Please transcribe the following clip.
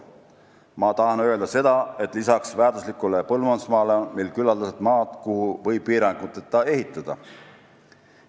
Ma tahan öelda seda, et peale väärtusliku põllumajandusmaa on meil küllaldaselt maad, kuhu võib piiranguteta ehitada.